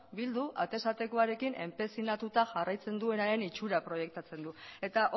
bildu atez atekoarekin enpezinatuta jarraitzen duenaren itxura proiektatzen du eta